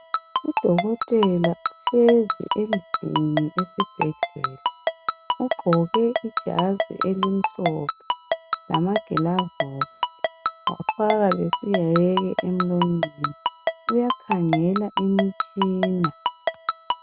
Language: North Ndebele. Udokotela uhlezi endlini esibhedlela ugqoke ijazi elimhlophe lamagilavusi wafaka lesiheke emlonyeni uyakhangela imitshina.